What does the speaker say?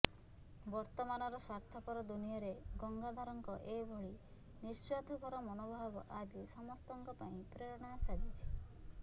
ବର୍ତ୍ତମାନର ସ୍ୱାର୍ଥପର ଦୁନିଆରେ ଗଙ୍ଗାଧରଙ୍କ ଏଭଳି ନିଃସ୍ୱାର୍ଥପର ମନୋଭାବ ଆଜି ସମସ୍ତଙ୍କ ପାଇଁ ପ୍ରେରଣା ସାଜିଛି